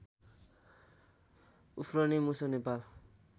उफ्रने मुसो नेपाल